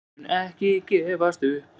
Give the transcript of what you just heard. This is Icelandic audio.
Við munum ekki gefast upp.